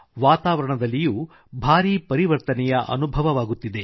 ವಾತಾವರಣದಲ್ಲಿಯೂ ಭಾರೀ ಪರಿವರ್ತನೆಯ ಅನುಭವವಾಗುತ್ತಿದೆ